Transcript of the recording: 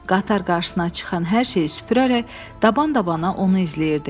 Qatar qarşısına çıxan hər şeyi süpürərək dabandabana onu izləyirdi.